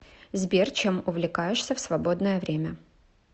сбер чем увлекаешься в свободное время